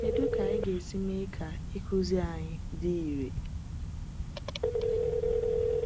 Kedu ka anyị ga-esi mee ka ịkụzi anyị dị irè?